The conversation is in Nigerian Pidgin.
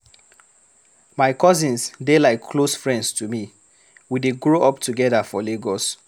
My cousins dey like close friends to me, we dey grow up together for Lagos.